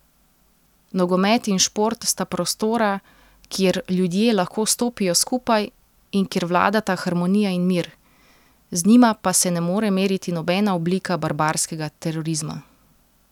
Nogomet in šport sta prostora, kjer ljudje lahko stopijo skupaj in kjer vladata harmonija in mir, z njima pa se ne more meriti nobena oblika barbarskega terorizma.